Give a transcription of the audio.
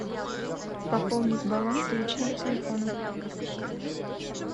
пополнить баланс личного телефона